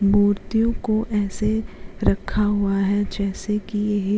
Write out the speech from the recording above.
मूर्तियों को ऐसे रखा हुआ है जैसे की येह --